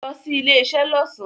Lo sí ilé isé lọ́sàn